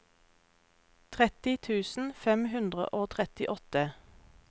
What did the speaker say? tretti tusen fem hundre og trettiåtte